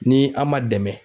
Ni a' man dɛmɛn